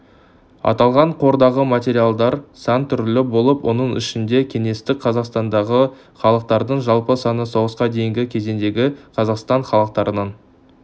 аталған қордағы материалдар сан түрлі болып оның ішінде кеңестік қазақстандағы халықтардың жалпы саны соғысқа дейінгі кезеңдегі қазақстан халықтарының